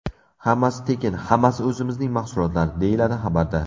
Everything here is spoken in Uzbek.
Hammasi tekin, hammasi o‘zimizning mahsulotlar”, deyiladi xabarda.